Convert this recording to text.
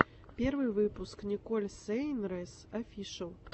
первый выпуск николь сейнрэс офишиал